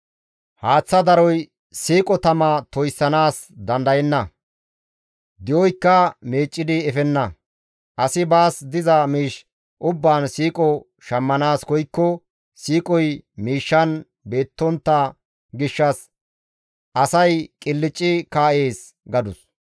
Haaththa daroy siiqo tama toyssanaas dandayenna; di7oykka meeccidi efenna; asi baas diza miish ubbaan siiqo shammanaas koykko siiqoy miishshan beettontta gishshas asay qilcci kaa7ees» gadus.